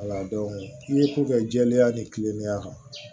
i ko kɛ jɛlenya ni kilennenya kan